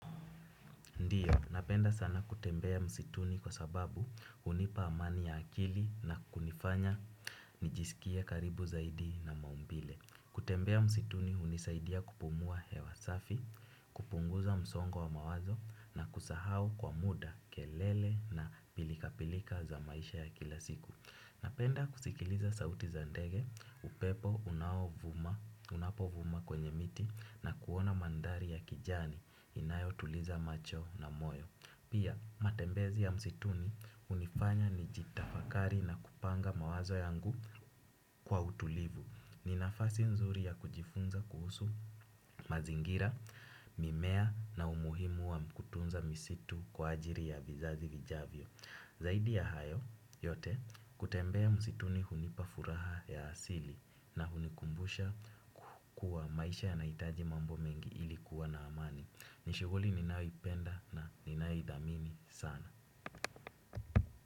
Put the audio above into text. Ndiyo, napenda sana kutembea msituni kwa sababu hunipa amani ya akili na kunifanya nijisikie karibu zaidi na maumbile. Kutembea msituni hunisaidia kupumua hewa safi, kupunguza msongo wa mawazo na kusahau kwa muda kelele na pilika pilika za maisha ya kila siku. Napenda kusikiliza sauti za ndege, upepo unaovuma unapovuma kwenye miti na kuona mandhari ya kijani inayotuliza macho na moyo. Pia matembezi ya msituni hunifanya nijitafakari na kupanga mawazo yangu kwa utulivu. Ni nafasi nzuri ya kujifunza kuhusu mazingira, mimea na umuhimu wa kutunza misitu kwa ajili ya vizazi vijavyo. Zaidi ya hayo yote kutembea msituni hunipa furaha ya asili na hunikumbusha kuwa maisha yanahitaji mambo mengi ili kuwa na amani. Ni shughuli ninayoipenda na ninayoithamini sana.